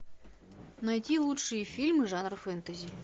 найти лучшие фильмы жанра фэнтези